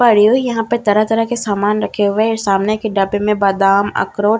भरी हुई है यहां पे तरह-तरह के सामान रखे हुए सामने के डब्बे में बादाम अखरोट आदि --